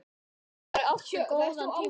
Þeir áttu góðan tíma saman.